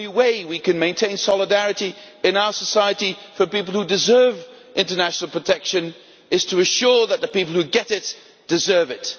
The only way we can maintain solidarity in our society for people who deserve international protection is to ensure that the people who get it deserve it.